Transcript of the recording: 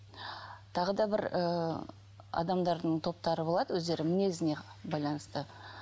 тағы да бір ыыы адамдардың топтары болады өздері мінезіне байланысты